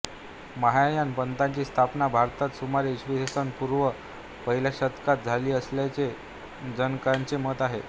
महायान पंथाची स्थापना भारतात सुमारे इ स पूर्व पहिल्या शतकात झाली असल्याचे जाणकारांचे मत आहे